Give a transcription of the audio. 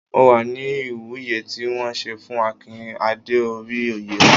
Mo wà ní Ìwúye tí wọ́n ṣe fún Akin dé orí oyè ọba.